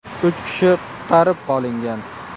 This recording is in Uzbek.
Uch kishi qutqarib qolingan.